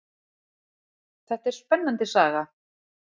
Þetta er spennandi saga.